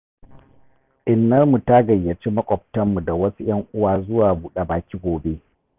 Innarmu ta gayyaci makwabtanmu da wasu 'yan uwa zuwa buɗa baki gobe.